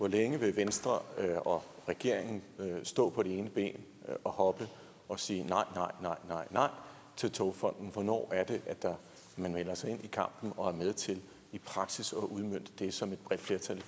længe venstre og regeringen vil stå på det ene ben og hoppe og sige nej nej nej til togfonden dk hvornår er det at man melder sig ind i kampen og er med til i praksis at udmønte det som et bredt flertal